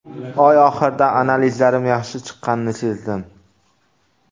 Oy oxirida analizlarim yaxshi chiqqanini sezdim.